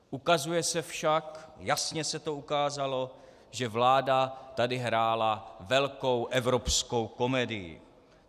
Ukazuje se však, jasně se to ukázalo, že vláda tady hrála velkou evropskou komedii.